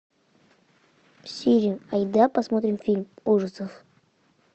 сири айда посмотрим фильм ужасов